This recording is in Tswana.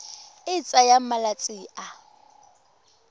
e e tsayang malatsi a